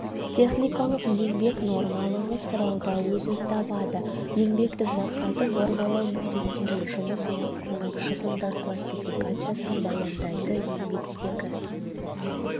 техникалық еңбек нормалығы сұрауда өзін табады еңбектің мақсаты нормалау міндеттерін жұмыс уақытының шығындар классификациясын баяндайды еңбектегі